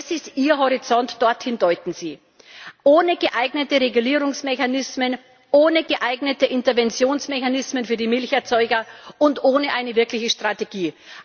Das ist Ihr Horizont, dorthin deuten Sie ohne geeignete Regulierungsmechanismen, ohne geeignete Interventionsmechanismen für die Milcherzeuger und ohne eine wirkliche Strategie.